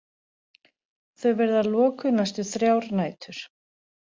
Þau verða lokuð næstu þrjár nætur